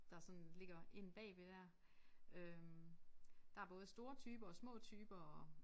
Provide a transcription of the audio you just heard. Der sådan ligger inde bagved dér øh der både store typer og små typer og